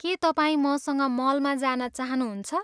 के तपाईँ मसँग मलमा जान चाहनुहुन्छ?